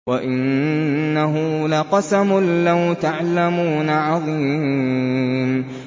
وَإِنَّهُ لَقَسَمٌ لَّوْ تَعْلَمُونَ عَظِيمٌ